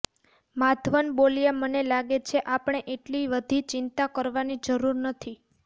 માધવન બોલ્યા મને લાગે છે આપણે એટલી વધી ચિંતા કરવાની જરૂર નથી